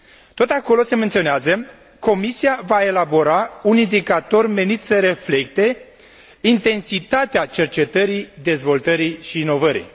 Tot acolo se menționează Comisia va elabora un indicator menit să reflecte intensitatea cercetării, dezvoltării și inovării.